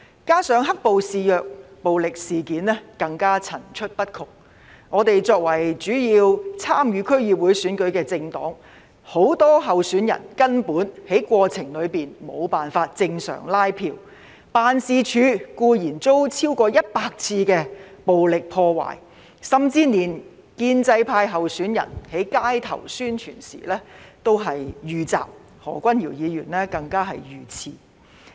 加上"黑暴"肆虐，暴力事件更層出不窮，我們作為主要參與區議會選舉的政黨，很多候選人根本在過程中無法正常拉票，辦事處固然遭超過100次暴力破壞，甚至連建制派候選人在街上宣傳時也遇襲，何君堯議員更加遇刺。